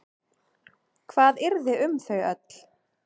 Hvað yrði um þau öll?